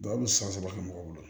a bɛ san saba kɛ mɔgɔw bolo